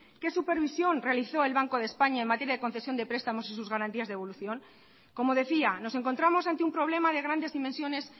qué supervisión realizó el banco de españa en materia de concesión de prestamos y sus garantías de devolución como decía nos encontramos ante un problema de grandes dimensiones